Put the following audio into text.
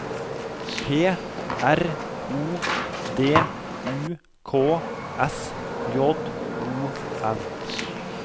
P R O D U K S J O N